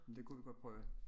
Men det kunne vi godt prøve